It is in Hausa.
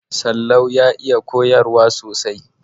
Sallau ya iya koyarwa sosai.